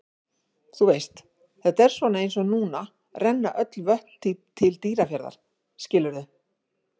Þú veist, þetta er svona eins og núna renna öll vötn til Dýrafjarðar, skilurðu?